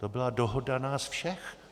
To byla dohoda nás všech.